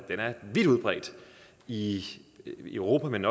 vidt udbredt i europa men